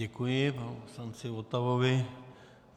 Děkuji panu poslanci Votavovi.